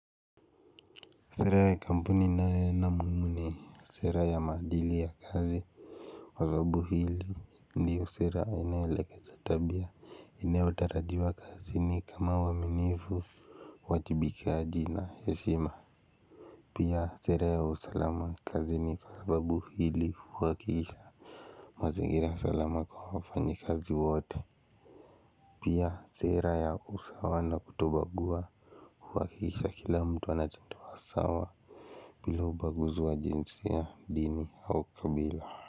Sera ya kampuni ninayoona muhimu ni sera ya maadili ya kazi. Kwa sababu hili ndiyo sera inayoelekeza tabia inayowatarajiwa kazini kama uaminifu uwajibikaji na heshima. Pia sera ya usalama kazini kwa sababu hii huhakikisha mazingira salama kwa wafanya kazi wote. Pia sera ya usawa na kuto bagua kuhakikisha kila mtu anajitoa sawa bila ubaguzi wa kijinsia, dini au kabila.